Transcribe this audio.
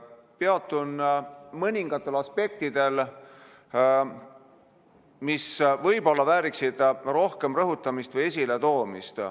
Peatun mõningatel aspektidel, mis võib-olla vääriksid rohkem rõhutamist või esiletoomist.